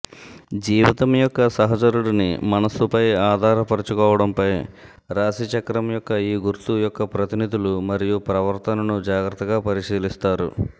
జీవితం యొక్క సహచరుడిని మనస్సుపై ఆధారపరుచుకోవడంపై రాశిచక్రం యొక్క ఈ గుర్తు యొక్క ప్రతినిధులు మరియు ప్రవర్తనను జాగ్రత్తగా పరిశీలిస్తారు